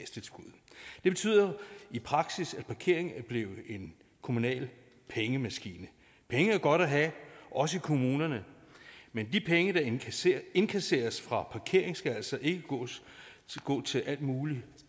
betyder i praksis at parkering er blevet en kommunal pengemaskine penge er godt at have også i kommunerne men de penge der indkasseres indkasseres fra parkering skal altså ikke gå til alt muligt